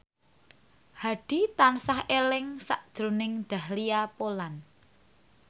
Hadi tansah eling sakjroning Dahlia Poland